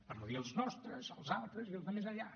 per no dir els nostres els altres i els de més enllà